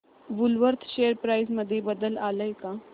Woolworth share price मध्ये बदल आलाय का